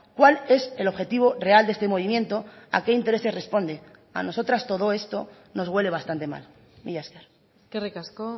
cuál es el objetivo real de este movimiento a qué intereses responde a nosotras todo esto nos huele bastante mal mila esker eskerrik asko